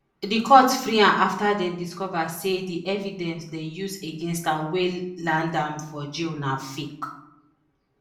di court free am afta dem discova say di evidence dem use against am wey land am for jail na fake